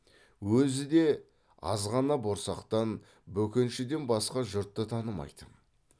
өзі де азғана борсақтан бөкеншіден басқа жұртты танымайтын